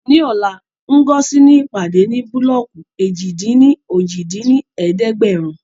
Ní ọ̀la, Ngozi ní ìpàdé ní búlọ́ọ̀kù èjì-dín-ní-ojì dín ní ẹ̀ẹ́dẹ́gbẹ́rún